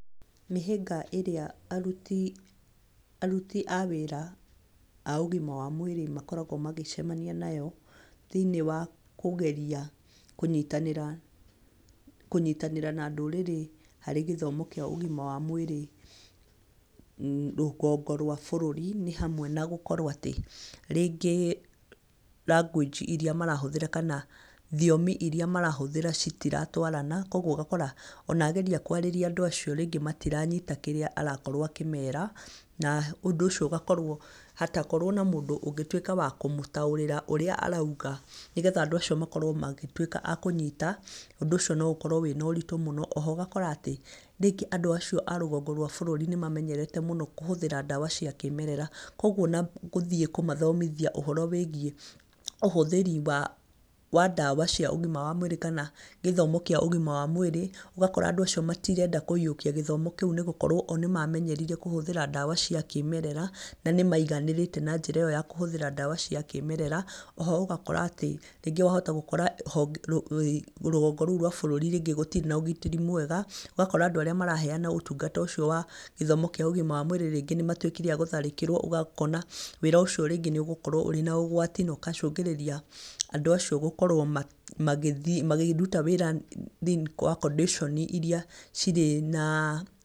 Mihĩnga ĩrĩa arũti awĩra agĩma wamwĩri makũragwo magĩshemania nayo thĩinĩ wa kũgeria kũnyĩtanira na ndurarĩ hari gĩthomo kĩa ugima wa mwĩri rũgongo rwa bũrũrĩ ni hamwe na gũkũkorũo ati rĩngĩ language irĩa marahũthĩra kana thĩomĩ irĩa marahũthĩra cĩtĩratũarana kogũo ũgakora ona agerĩa kwarĩria andũ ashio rĩngĩ matiranyĩta kĩria aramera na ũndũ ũcio ũgakora hatakorúo na mũndũ ũngĩtũika wa kũmũtaũrira ũrĩa araũga nĩgetha andũ acĩo magĩtũĩka akũnyĩta ũndũ ũcio no ũkorũo wĩna ũrĩtũ mũno oho ũgakora ati ríngĩ andũ acio arũgongo rwa bũrũri nĩmamenyerete muno kũhũthira ndawa cia kĩmerera kogũo onaguthii kũmathomĩthia ũhoro wigĩe ũhũthiri wa cia ũgĩma wa mwĩri ũgakora andũ acio matirenda kuĩyukia gĩthomo kiũ nigũkorũo oo nimamenyerire kũhũthira ndawa cia kimerera na nimaiganĩrite na njira iyo ya kũhũthira cia kimerera oho ũgakora atĩ rũgũngũ rũu rwa bũrũri gũtĩri na ũgitiri mwega ũgakora andũ aria maraheana ũtũngata ũcio wagithomo kia ũgima wa mwĩri ringĩ nimatũikĩre agũtharikĩrwo ũkona wira ũcio rĩngĩ nĩugũkorũo wĩna ũgũatĩ na ũgacungĩrirĩa andũ acio gũkorũo makiruta wĩra thiini wa condition irĩa irĩ na